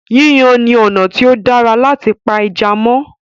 Yíyan ni ọ̀nà tí o dára láti pa ẹja mó.